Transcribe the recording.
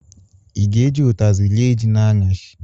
Ị ga-eji ụtazi rie ji n'anyasị?